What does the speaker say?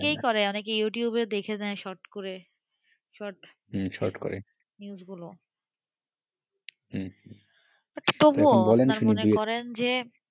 হ্যাঁ এটা এখনও অনেকেই করে ইউটিউবে দেখে short করেতবুও তাঁরা মনে করেন যে,